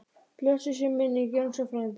Blessuð sé minning Jónsa frænda.